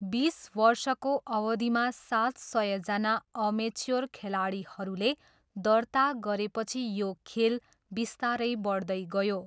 बिस वर्षको अवधिमा सात सयजना अमेच्योर खेलाडीहरूले दर्ता गरेपछि यो खेल बिस्तारै बढ्दै गयो।